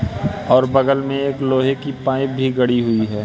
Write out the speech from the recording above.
और बगल में एक लोहे की पाइप भी गड़ी हुई है।